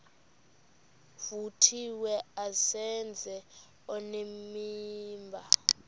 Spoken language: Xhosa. vuthiwe azenze onenimba